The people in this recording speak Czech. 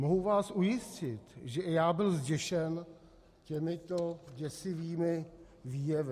Mohu vás ujistit, že i já byl zděšen těmito děsivými výjevy.